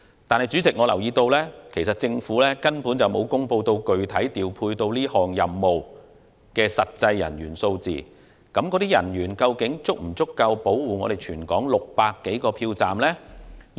但是，主席，我留意到政府並沒有公布具體調配擔任這個任務的實際人員數字，究竟這些人員是否足夠保護全港600多個票站呢？